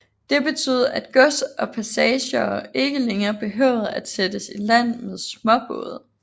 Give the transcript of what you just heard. Det betød at gods og passagerer ikke længere behøvede at sættes i land med småbåde